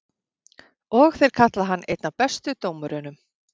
Og þeir kalla hann einn af bestu dómurunum?